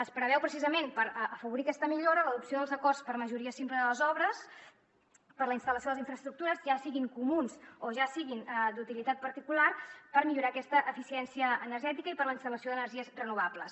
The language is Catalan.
es preveu precisament per afavorir aquesta millora l’adopció dels acords per majoria simple de les obres per a la instal·lació de les infraestructures ja siguin comuns o ja siguin d’utilitat particular per millorar aquesta eficiència energètica i per a la instal·lació d’energies renovables